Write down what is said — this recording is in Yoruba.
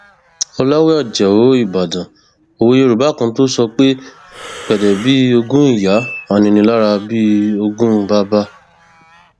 ọlàwé ajáò ìbàdàn òwe yorùbá kan tó sọ pé gbédè bíi ogún ìyá aninilára bíi ogún bàbà